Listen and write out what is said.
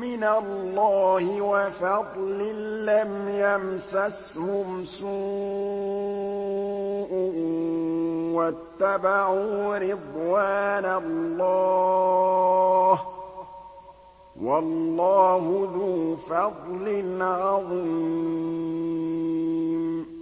مِّنَ اللَّهِ وَفَضْلٍ لَّمْ يَمْسَسْهُمْ سُوءٌ وَاتَّبَعُوا رِضْوَانَ اللَّهِ ۗ وَاللَّهُ ذُو فَضْلٍ عَظِيمٍ